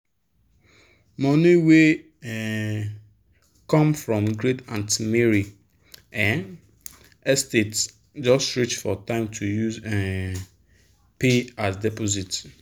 money wey um come from great aunty mary um estate just reach for time to use um pay as deposit.